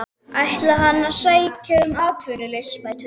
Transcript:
Ætlaði hann að sækja um atvinnuleysisbætur?